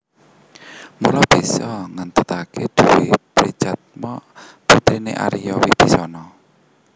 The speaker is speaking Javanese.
Mula bisa ngéntukaké Dewi Trijatha putriné Arya Wibisana